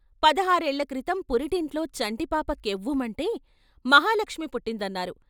పదహారేళ్ళ క్రితం పురిటింట్లో చంటిపాప కెవ్వుమంటే మహాలక్ష్మి పుట్టిం దన్నారు.